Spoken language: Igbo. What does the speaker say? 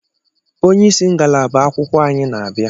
onyeisi ngalaba akwụkwọ anyị na-abịa